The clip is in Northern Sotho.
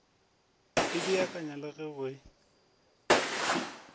e beakanya le go e